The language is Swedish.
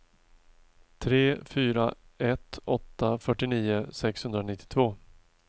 tre fyra ett åtta fyrtionio sexhundranittiotvå